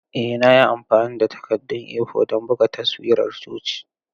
Ee na yi amfani da takaddun A4 don buga taswirar coci.